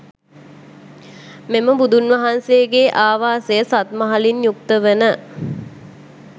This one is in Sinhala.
මෙම බුදුන් වහන්සේගේ ආවාසය සත් මහලින් යුක්ත වන